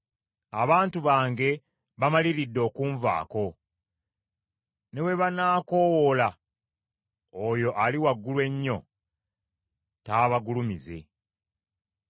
Abantu bange bamaliridde okunvaako. Ne bwe banaakoowoola oyo Ali Waggulu Ennyo, taabagulumize.